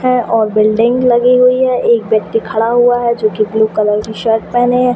हैं और बिल्डिंग लगी हुई हैं एक व्यक्ति खड़ा हुआ हैं जो कि ब्लू कलर की शर्ट पहने हैं।